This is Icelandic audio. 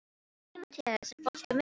Tímoteus, er bolti á miðvikudaginn?